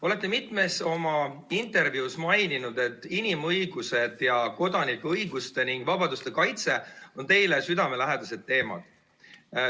Olete mitmes oma intervjuus maininud, et inimõigused ning kodanikuõiguste ja ‑vabaduste kaitse on teile südamelähedased teemad.